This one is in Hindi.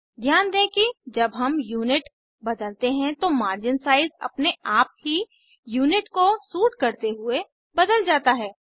ध्यान दें कि जब हम यूनिट बदलते हैं तो मार्जिन साइज अपने आप ही यूनिट को सूट करते हुए बदल जाता है